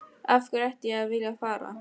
Af hverju ætti ég að vilja að fara?